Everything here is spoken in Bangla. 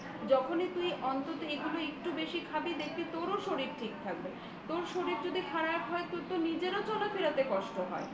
যখনই তুই অন্তত এগুলো একটু বেশি খাবি দেখবি তোর শরীর ঠিক থাকবে তোর শরীর যদি খারাপ হয় তোর নিজেরও চলাফেরার কষ্ট হয়